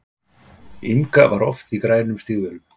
Inga var oft í grænum stígvélum.